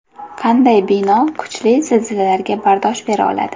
Qanday bino kuchli zilzilalarga bardosh bera oladi?